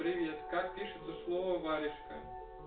привет как пишется слово варежка